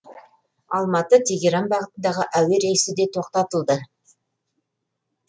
алматы тегеран бағытындағы әуе рейсі де тоқтатылды